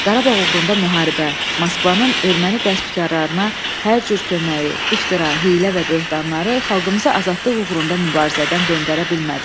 Qarabağ uğrunda müharibə, Moskvanın erməni qəsbkarlarına hər cür köməyi, iftira, hiylə və böhtanları xalqımızı azadlıq uğrunda mübarizədən döndərə bilmədi.